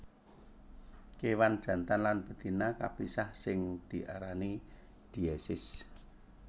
Kéwan jantan lan betina kapisah sing diarani diesis